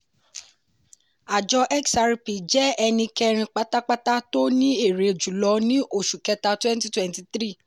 àjọ xrp jẹ́ ẹni kẹrin pátápátá tó ní èrè jùlọ ní oṣù kẹta twenty twenty three